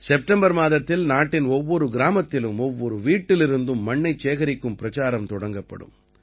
September மாதத்தில் நாட்டின் ஒவ்வொரு கிராமத்திலும் ஒவ்வொரு வீட்டிலிருந்தும் மண்ணைச் சேகரிக்கும் பிரச்சாரம் தொடங்கப்படும்